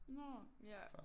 Nå ja